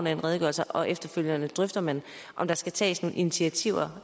af en redegørelse og efterfølgende drøfter man om der skal tages nogle initiativer